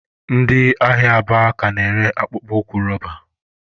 Ndị ahịa Aba ka na-ere akpụkpọ ụkwụ roba.